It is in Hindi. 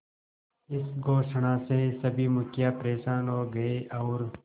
इस घोषणा से सभी मुखिया परेशान हो गए और